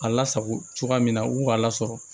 A lasago cogoya min na u k'a lasɔrɔ